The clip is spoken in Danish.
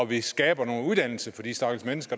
vi skaber noget uddannelse for de stakkels mennesker